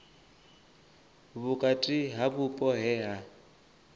vhukati ha vhupo he ha